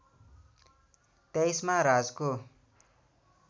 २३ मा राजको